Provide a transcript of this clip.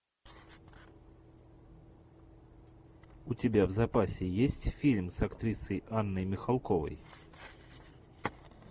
у тебя в запасе есть фильм с актрисой анной михалковой